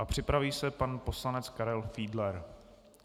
A připraví se pan poslanec Karel Fiedler.